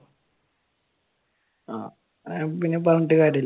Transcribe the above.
ആഹ് പിന്നെ പറഞ്ഞിട്ട് കാര്യമില്ല.